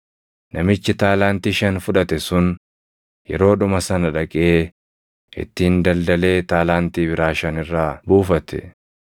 Namichi taalaantii shan fudhate sun, yeroodhuma sana dhaqee ittiin daldalee taalaantii biraa shan irraa buufate.